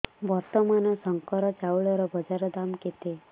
ବର୍ତ୍ତମାନ ଶଙ୍କର ଚାଉଳର ବଜାର ଦାମ୍ କେତେ